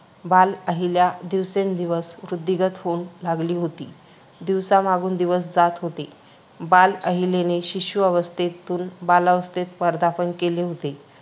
बाल अहिल्या दिवसेंदिवस वृद्धिंगत होऊन लागली होती. दिवसा मागून दिवस जात होते. बाल अहिल्येने शिशु अवस्थेतून बाल्यावस्थेत पदार्पण केले होते.